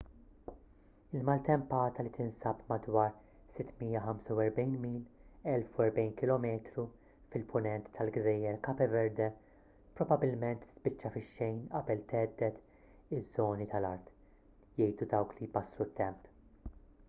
il-maltempata li tinsab madwar 645 mil 1040 km fil-punent tal-gżejjer cape verde probabbilment tispiċċa fix-xejn qabel thedded iż-żoni tal-art jgħidu dawk li jbassru t-temp